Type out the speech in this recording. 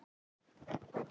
Leitaðu bara að honum.